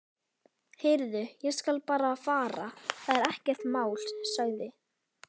Heyrðu, ég skal bara fara, það er ekkert mál sagði